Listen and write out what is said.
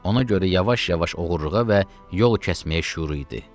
Ona görə yavaş-yavaş oğurluğa və yol kəsməyə şüur idi.